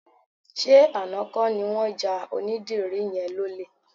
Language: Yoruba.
Ṣé àná kọ́ ni wọ́n ja onídìrí yẹn lólè?